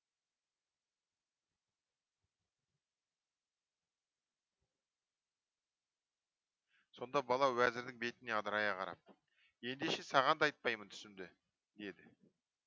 сонда бала уәзірдің бетіне адырая қарап ендеше саған да айтпаймын түсімді деді